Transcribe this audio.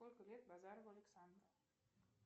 сколько лет базарову александру